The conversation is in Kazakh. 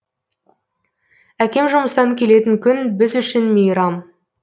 әкем жұмыстан келетін күн біз үшін мейрам